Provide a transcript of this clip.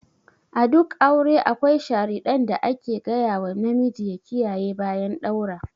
A duk aure akwai sharidan da ake ga yawa namiji ya kiyaye bayan ɗaura.